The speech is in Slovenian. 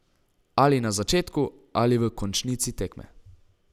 Ali na začetku ali v končnici tekme.